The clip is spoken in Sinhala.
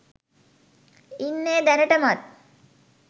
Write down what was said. ඉන්නෙ දැනටමත්?